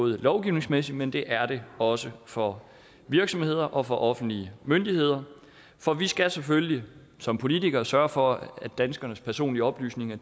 lovgivningsmæssigt men det er det også for virksomheder og for offentlige myndigheder for vi skal selvfølgelig som politikere sørge for at danskernes personlige oplysninger